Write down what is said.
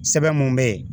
Sɛbɛn mun be yen